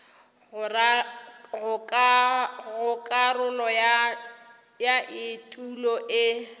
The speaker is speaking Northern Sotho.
go karolo ya etulo e